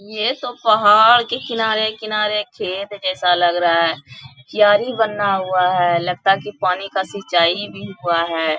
ये तो पहाड़ के किनारे-किनारे खेत जैसा लग रहा है क्यारी बना हुआ है लगता है की पानी का सिंचाई भी हुआ है।